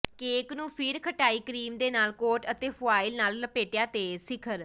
cake ਨੂੰ ਫਿਰ ਖਟਾਈ ਕਰੀਮ ਦੇ ਨਾਲ ਕੋਟ ਅਤੇ ਫੁਆਇਲ ਨਾਲ ਲਪੇਟਿਆ ਦੇ ਸਿਖਰ